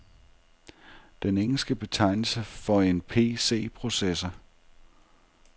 Den engelske betegnelse for en PC processor.